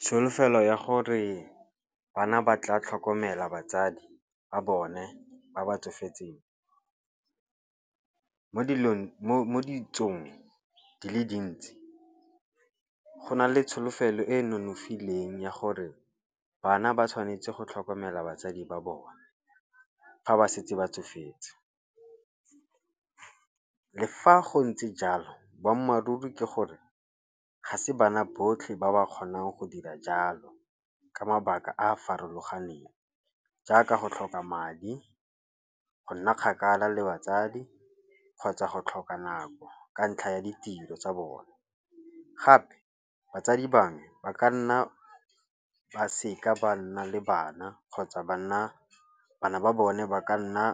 Tsholofelo ya gore bana ba tla tlhokomela batsadi ba bone ba ba tsofetseng. Mo ditsong di le dintsi go na le tsholofelo e e nonofileng ya gore bana ba tshwanetse go tlhokomela batsadi ba bone ga ba setse ba tsofetse. Le fa go ntse jalo boammaaruri ke gore ga se bana botlhe ba ba kgonang go dira jalo ka mabaka a a farologaneng. Jaaka go tlhoka madi, go nna kgakala le batsadi kgotsa go tlhoka nako ka ntlha ya ditiro tsa bone. Gape batsadi bangwe ba ka nna ba seka ba nna le bana kgotsa ba nna, bana ba bone ba ka nna